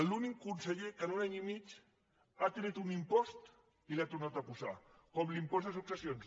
l’únic conseller que en un any i mig ha tret un impost i l’ha tornat a posar com l’impost de successions